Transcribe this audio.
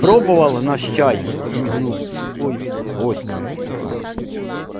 пробовал наш чай подмигнул сухой гостю